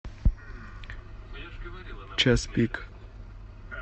час пик